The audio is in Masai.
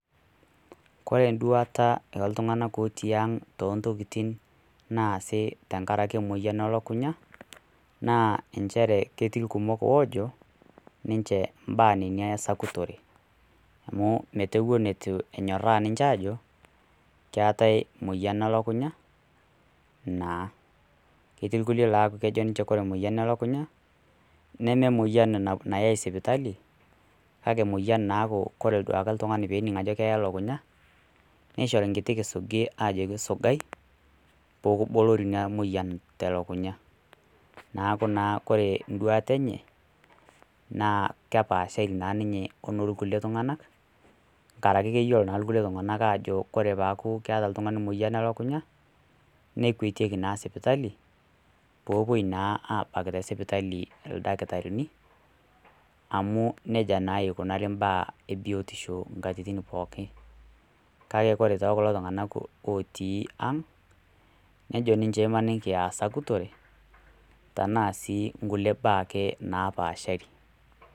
Kore eduata ooltunganak otii ang. too ntokitin naasi tenkaraki emoyian elukunya naa enhere ketii irkumok oojo nince imbaa nina esakutore, amu metewuo netiu enyoraa ninche aajo ketae moyian elukunya.na ketii irkulie laa kejo ninche ore emoyian elukunya ,neme emoyian enapa nayae sipitali. kake emoyian naaaku ore duoa ake oltungani pee ening ajo keya lukunya, neishori enkiti kisugi aajoki isugai pee kibolori naa emoyian te lukunya. neeku naa kore duaata enye naa kepaashari naa ninye onoo kulie tunganak, nkaraki keyiolo naa kulie tunganak aajo kore paaku keeta oltungani moyian elukunya, nekuetieki naa sipitali. pee epuoi naa aabaak tesipitali, ildktarini, amu neia naa ikunari imbaa ebiotisho nkatitin pookin. kake ore too kulo tunganak otii ang' nejo ninche imaniki aasakutore tenaa sii nkulie mbaa ake naapaashari.